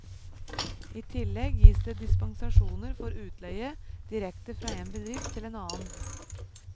I tillegg gis det dispensasjoner for utleie direkte fra en bedrift til en annen.